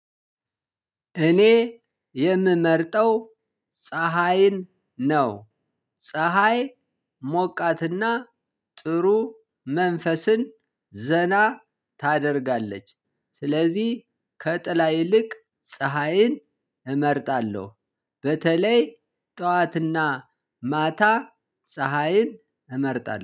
እኔ የምመርጠው ፀሀይን ነው። ፀሀይ ሞቃትና ጥሩ መንፈስን ዘና ታደርጋለች። ስለዚህ ከጥላ ይልቅ ፀሀይን እመርጣለሁ። በተለይ ጠዋት እና ማታ ፀሀይን እመርጣለሁ